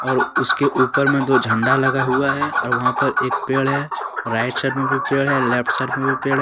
और उसके ऊपर में दो झंडा लगा हुआ है और वहां पर एक पेड़ है राइट साइड में भी पेड़ है लेफ्ट साइड में भी पेड़ है।